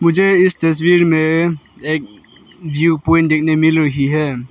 मुझे इस तस्वीर में एक जिओ प्वाइंट देखने मिल रही है।